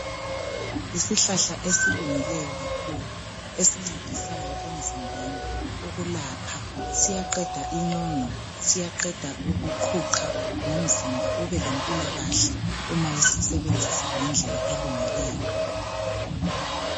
Isihlahla esilungileyo kakhulu esincedisayo emzimbeni ukulapha siyaqeda inyongo siyaqeda ukuqhuqha lomzimba ube lempilakahle uma usisebenzisa ngendlela elungileyo.